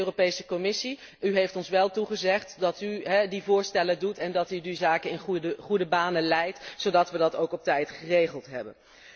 Beste Europese Commissie, u heeft ons toegezegd dat u die voorstellen doet en dat u die zaken in goede banen leidt, zodat we dat ook op tijd geregeld hebben.